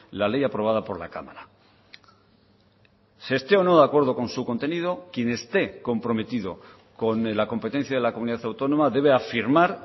la ley aprobada por la cámara se esté o no de acuerdo con su contenido quien esté comprometido con la competencia de la comunidad autónoma debe afirmar